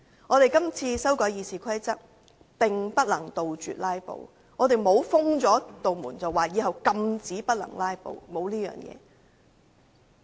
我們這次修改《議事規則》並不能杜絕"拉布"，更沒有明確規定以後禁止"拉布"。